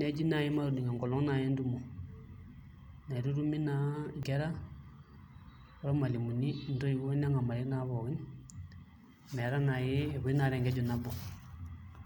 neji naai matudung' enkolong' naai entumo naitutumi naa nkera ormalimuni ntoiwuo neng'amari naa pookin metaa naai epuoi naa tenkeju nabo.